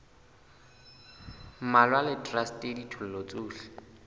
mmalwa le traste ditho tsohle